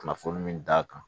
Kunnafoni min d'a kan